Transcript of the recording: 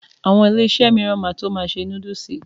Àwọn Iléeṣẹ́ mìíràn náà ma tó ma ṣe núdúsì